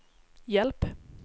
hjälp